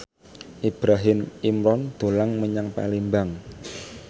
Ibrahim Imran dolan menyang Palembang